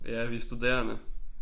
Ja vi er studerende